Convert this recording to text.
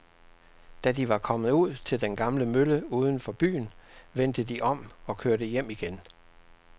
Da de var kommet ud til den gamle mølle uden for byen, vendte de om og kørte hjem igen.